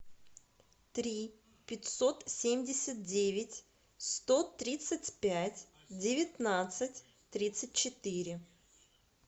три пятьсот семьдесят девять сто тридцать пять девятнадцать тридцать четыре